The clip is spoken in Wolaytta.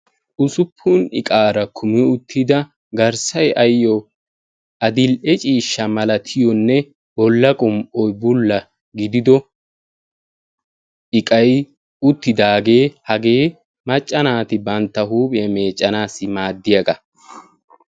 Ussuppun iqaara kumi uttida garsay ayo addil'e ciisha malatiyonne bolla qum'oy bulla gidido iqay uttidage hagee macca naati bantta huuphiya meeccanasi maaddiyaga.